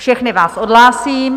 Všechny vás odhlásím.